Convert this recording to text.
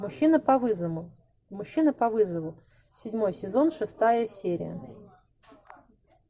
мужчина по вызову мужчина по вызову седьмой сезон шестая серия